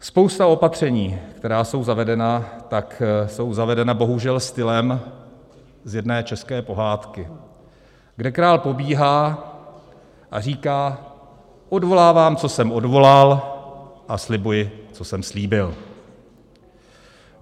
Spousta opatření, která jsou zavedena, tak jsou zavedena bohužel stylem z jedné české pohádky, kde král pobíhá a říká: odvolávám, co jsem odvolal, a slibuji, co jsem slíbil.